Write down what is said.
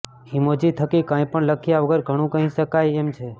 emoji થકી કંઈપણ લખ્યા વગર ઘણું કહી શકાય એમ છે